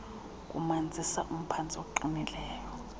kumanzisa umphantsi oqinileyo